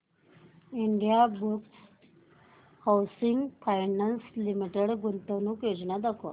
Indiabulls housing finance limited गुंतवणूक योजना दाखव